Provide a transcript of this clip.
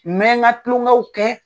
N'an y'an ka tulonkɛw kɛ.